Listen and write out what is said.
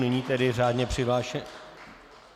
Nyní tedy řádně přihlášený...